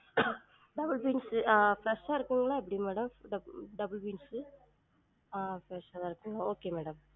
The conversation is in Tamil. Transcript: Double பீன்சு ஆஹ் fresh ஆ இருக்குங்களா எப்டி madam? doub~ double பீன்சு ஆஹ் fresh ஆ இருக்கு okay madam